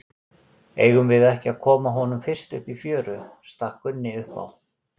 Eigum við ekki að koma honum fyrst upp í fjöru, stakk Gunni upp á.